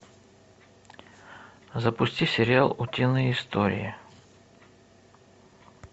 запусти сериал утиные истории